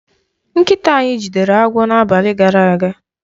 Nkịta anyị jidere agwọ n'abalị gara aga.